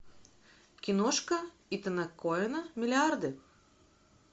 киношка итана коэна миллиарды